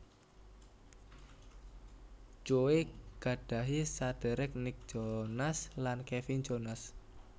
Joe gadhahi saderek Nick Jonas lan Kevin Jonas